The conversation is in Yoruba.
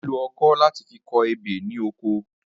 À ń lo o̩kó̩ láti fi ko̩ ebè ní oko